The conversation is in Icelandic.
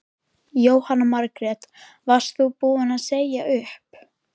Jóhanna Margrét: Varst þú búin að segja upp?